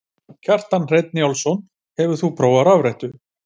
Kjartan Hreinn Njálsson: Hefur þú prófað rafrettu?